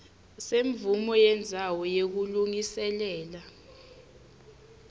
semvumo yendzawo yekulungiselela